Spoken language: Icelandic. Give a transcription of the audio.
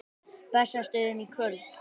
Bessastöðum í kvöld!